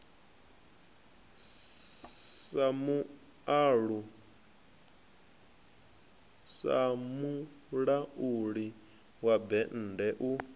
sa mulauli wa bennde u